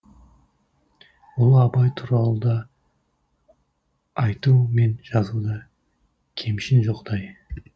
ұлы абай туралы да айту мен жазуда кемшін жоқтай